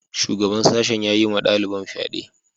Shugaban sashen ya yi wa daliban fyade.